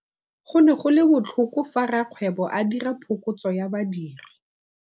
Go ne go le botlhoko fa rakgweebô a dira phokotsô ya badiri.